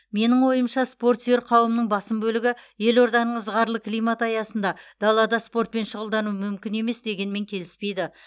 менің ойымша спорт сүйер қауымның басым бөлігі елорданың ызғарлы климаты аясында далада спортпен шұғылдану мүмкін емес дегенмен келіспейді